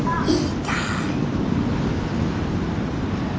Í gær?